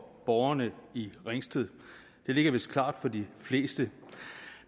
borgerne i ringsted det ligger vist klart for de fleste